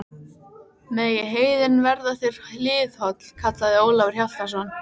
Megi heiðin verða þér hliðholl, kallaði Ólafur Hjaltason.